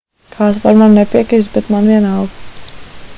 kāds var man nepiekrist bet man vienalga